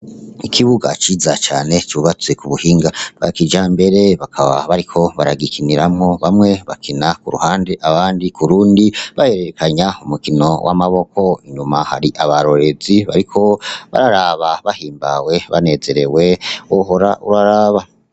Ikibuga ciza cane cubatse kubuhinga bwa kijambere bakaba bariko baragikiniramwo bamwe bakina kuruhande abandi kurundi bahererekanya umukino wamaboko inyuma hari abarorerezi bariko bararaba bahimbawe banezerewe wohora urararaba.